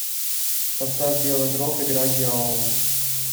поставь белый гроб игра дьявола